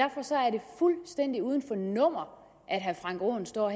fuldstændig uden for nummer at herre frank aaen står